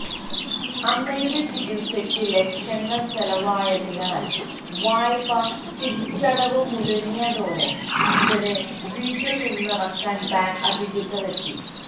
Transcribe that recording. അമ്മയുടെ ചികിത്സക്ക് ലക്ഷങ്ങള് ചെലവായതിനാൽ വായ്പ തിരിച്ചടവ് മുടങ്ങിയതോടെ ഇവരെ വീട്ടില് നിന്നിറക്കാന് ബാങ്ക് അധികൃതരെത്തി